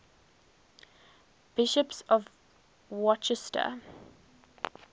bishops of worcester